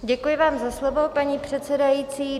Děkuji vám za slovo, paní předsedající.